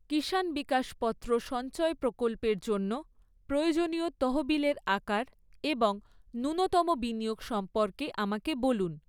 কিষান বিকাশপত্র সঞ্চয় প্রকল্পের জন্য প্রয়োজনীয় তহবিলের আকার এবং ন্যূনতম বিনিয়োগ সম্পর্কে আমাকে বলুন।